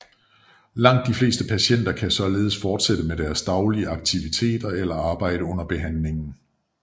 Langt de fleste patienter kan således fortsætte med deres daglige aktiviteter eller arbejde under behandlingen